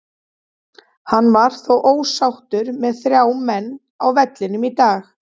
Hann var þó ósáttur með þrjá menn á vellinum í dag.